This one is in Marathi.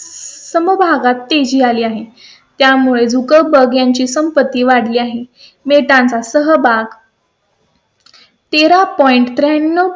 समभागात तेजी आली आहे. त्यामुळे संपत्ती वाढली आहे. मिळतं सहभाग . तेरा point त्र्याण्णव